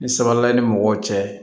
Ni sabali ni mɔgɔw cɛ